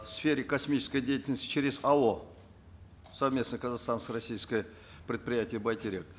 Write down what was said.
в сфере космической деятельности через ао совместное казахстанско российское предприятие байтерек